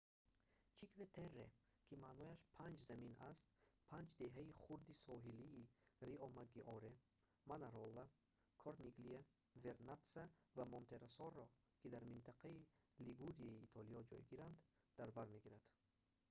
чинкве-терре ки маънояш панҷ замин аст панҷ деҳаи хурди соҳилии риомаггиоре манарола корниглия вернатса ва монтероссоро ки дар минтақаи лигурияи итолиё ҷойгиранд дар бар мегирад